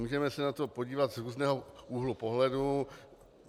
Můžeme se na to podívat z různého úhlu pohledu.